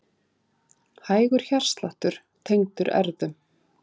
Hægur hjartsláttur tengdur erfðum